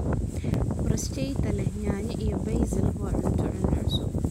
Bruschetta leh yaanyo iyo basil waa cunto-cunno cusub.